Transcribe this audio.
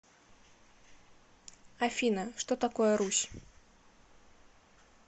афина что такое русь